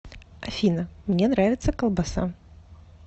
афина мне нравится колбаса